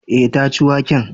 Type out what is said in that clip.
Eh, ta ci waken